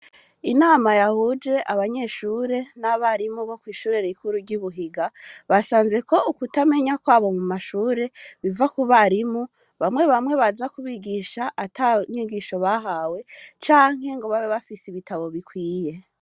Inama yahuje abanyeshure n'abarimu bo kw'ishure rikuru ry'ibuhiga basanzeko ukutamenya kwabo mu mashure biva ku barimu bamwe bamwe baza kubigisha atanyigisho bahawe canke ngo babe bafise ibitabo bikwiye.